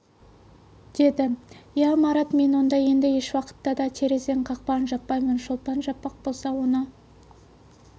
деді ия марат мен онда енді еш уақытта да терезенің қақпағын жаппаймын шолпан жаппақ болса оны